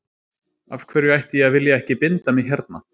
Af hverju ætti ég að vilja ekki binda mig hérna.